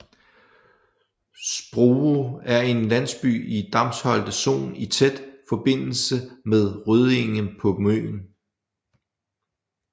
Sprove er en landsby i Damsholte Sogn i tæt forbindelse med Røddinge på Møn